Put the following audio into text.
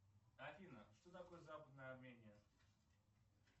афина что такое западная армения